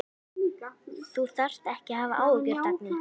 Þú þarft ekki að hafa áhyggjur, Dagný.